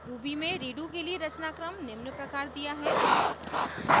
ruby में redo के लिए रचनाक्रम निम्न प्रकार दिया है :